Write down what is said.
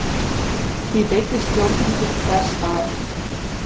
Því beiddist stjórnin þess, að